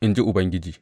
in ji Ubangiji.